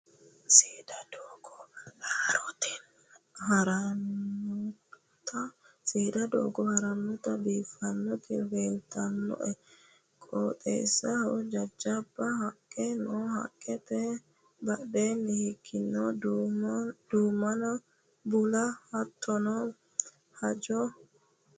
Seeda doogo horonta biiffanoti leelitannoe. Qooxesahono jajjaba haqqe no haqqete badhee higeno duumonna bulla hattono haanja kuula buurronni mine no.